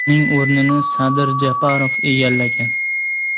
Uning o‘rnini Sadir Japarov egallagan .